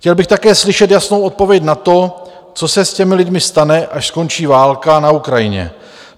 Chtěl bych také slyšet jasnou odpověď na to, co se s těmi lidmi stane, až skončí válka na Ukrajině.